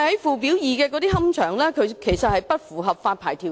屬"表二"的龕場，理應不符合發牌條件。